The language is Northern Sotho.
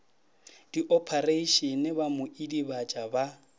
diophareišene ba mo idibatša ba